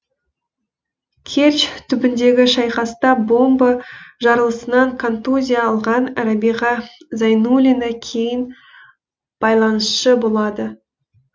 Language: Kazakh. керчь түбіндегі шайқаста бомба жарылысынан контузия алған рәбиға зайнуллина кейін байланысшы болады